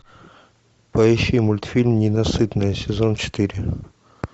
поищи мультфильм ненасытная сезон четыре